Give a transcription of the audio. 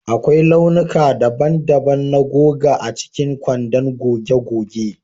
Akwai launuka daban-daban na goga a cikin kwandon goge goge